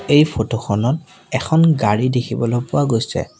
এই ফটো খনত এখন গাড়ী দেখিবলৈ পোৱা গৈছে।